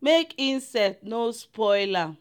make insect no spoil am.